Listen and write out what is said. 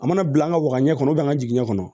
A mana bila an ka wagan ɲɛ kɔnɔ an ka jiginni kɔnɔ